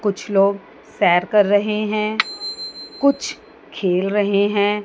कुछ लोग सैर कर रहे हैं कुछ खेल रहे हैं।